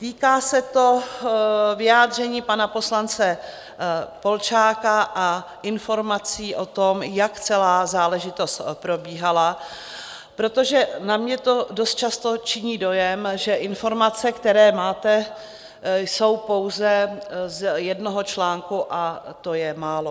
Týká se to vyjádření pana poslance Polčáka a informací o tom, jak celá záležitost probíhala, protože na mě to dost často činí dojem, že informace, které máte, jsou pouze z jednoho článku, a to je málo.